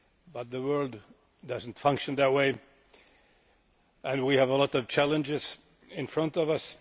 But the world does not function in that way and we have a lot of challenges in front of us.